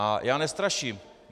A já nestraším.